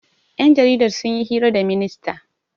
Ƴan jaridar sun yi hira da ministan.